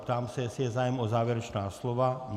Ptám se, jestli je zájem o závěrečná slova.